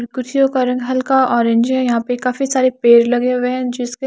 कुर्सियों का रंग हल्का ऑरेंज है यहां पे काफी सारे पेड़ लगे हुए हैं जिसके --